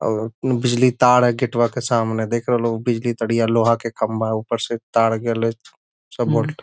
और बिजली की तार है गेटवा के सामने देख रहेलो ऊपर से बिजली पड़ी है लोहे का खम्बा ऊपर से तार ।